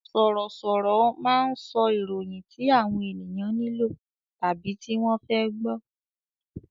Sọ̀rọ̀ sọ̀rọ̀ máa ń sọ ìròyìn tí àwọn ènìyàn nílò tàbí tí wọ́n fẹ́ gbọ